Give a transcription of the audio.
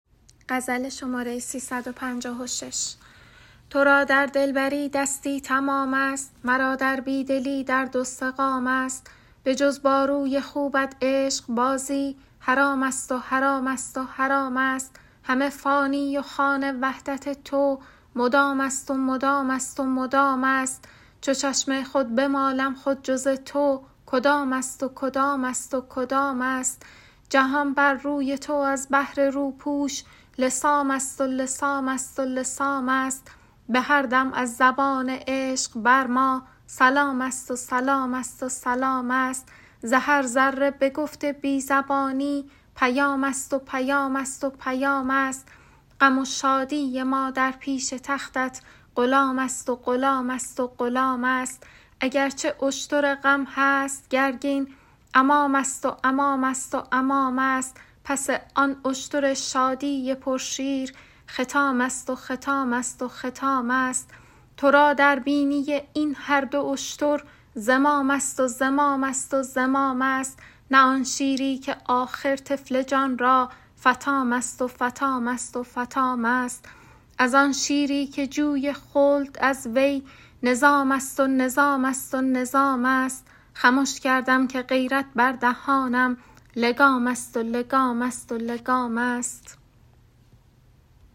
تو را در دلبری دستی تمامست مرا در بی دلی درد و سقامست بجز با روی خوبت عشقبازی حرامست و حرامست و حرامست همه فانی و خوان وحدت تو مدامست و مدامست و مدامست چو چشم خود بمالم خود جز تو کدامست و کدامست و کدامست جهان بر روی تو از بهر روپوش لثامست و لثامست و لثامست به هر دم از زبان عشق بر ما سلامست و سلامست و سلامست ز هر ذره به گفت بی زبانی پیامست و پیامست و پیامست غم و شادی ما در پیش تختت غلامست و غلامست و غلامست اگر چه اشتر غم هست گرگین امامست و امامست و امامست پس آن اشتر شادی پرشیر ختامست و ختامست و ختامست تو را در بینی این هر دو اشتر زمامست و زمامست و زمامست نه آن شیری که آخر طفل جان را فطامست و فطامست و فطامست از آن شیری که جوی خلد از وی نظامست و نظامست و نظامست خمش کردم که غیرت بر دهانم لگامست و لگامست و لگامست